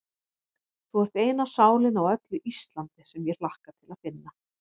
Þú ert eina sálin á öllu Íslandi, sem ég hlakka til að finna.